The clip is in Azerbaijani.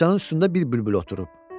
Sandıqçanın üstündə bir bülbül oturub.